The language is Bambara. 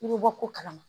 I bɛ bɔ ko kalama